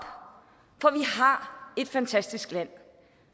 et fantastisk land